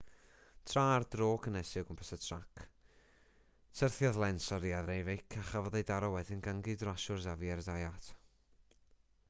tra ar dro cynhesu o gwmpas y trac syrthiodd lenz oddi ar ei feic a chafodd ei daro wedyn gan ei gydrasiwr xavier zayat